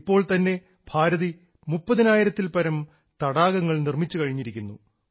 ഇപ്പോൾ തന്നെ ഭാരതി മുപ്പതിനായിരത്തിൽപ്പരം തടാകങ്ങൾ നിർമ്മിച്ചുകഴിഞ്ഞിരിക്കുന്നു